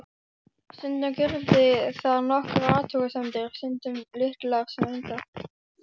Stundum gerði það nokkrar athugasemdir, stundum litlar sem engar.